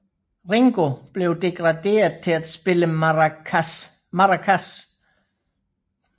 Ringo blev degraderet til at spille maracas